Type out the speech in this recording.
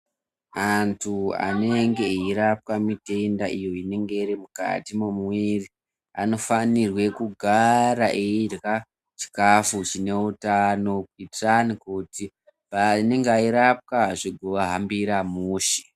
Antu anenge eirapwa mitenda iyo inenge iri mukati mwemuviri. Anofanirwe kugara achirya chikafu chine utano kuitirani kuti panenge eirapwa zvigaahambira mushe.